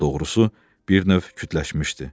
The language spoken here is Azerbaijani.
Daha doğrusu bir növ kütləşmişdi.